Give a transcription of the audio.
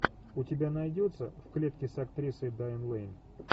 у тебя найдется в клетке с актрисой дайан лэйн